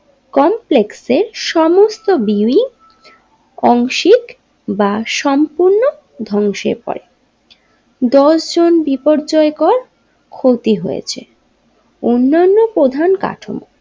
কমপ্লেক্সের সমস্ত বিল্ডিং অংশিক বা সম্পূর্ণ দংশে পরে দশজন বিপর্যয় কর ক্ষতি হয়েছে অন্নান্য প্রধান কারণ।